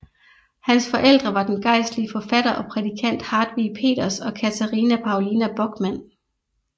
Hans forældre var den gejstlige forfatter og prædikant Hartwig Peters og Catharina Paulina Böckmann